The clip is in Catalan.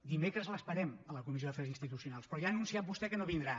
dimecres l’esperem a la comissió d’afers institucionals però ja ha anunciat vostè que no vindrà